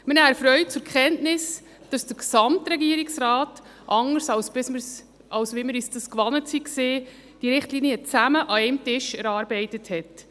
Wir nehmen erfreut zur Kenntnis, dass der Gesamtregierungsrat, anders als wir es bisher gewohnt waren, diese Richtlinien gemeinsam an einem Tisch erarbeitet hat.